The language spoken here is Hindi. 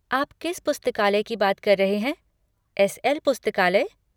आप किस पुस्तकालय की बात कर रहे हैं, एस.एल. पुस्तकालय?